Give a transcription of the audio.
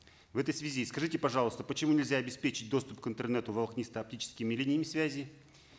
в этой связи скажите пожалуйста почему нельзя обеспечить доступ к интернету волокнисто оптическими линиями связи